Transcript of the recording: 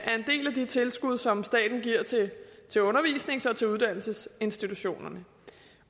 en tilskud som staten giver til til undervisnings og uddannelsesinstitutionerne